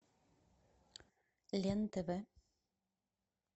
лен тв